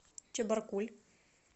чебаркуль